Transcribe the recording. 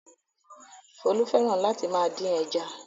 Folú fẹ́ràn láti máa dín ẹja.